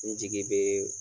N jigi bɛ